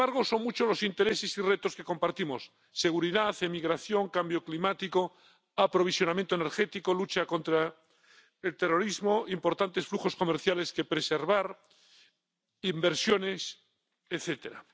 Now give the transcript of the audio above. Y, sin embargo, son muchos los intereses y retos que compartimos seguridad, emigración, cambio climático, aprovisionamiento energético, lucha contra el terrorismo, importantes flujos comerciales que preservar, inversiones, etcétera.